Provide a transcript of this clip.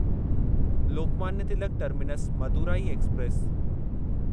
Lokmanya Tilak terminus Madurai express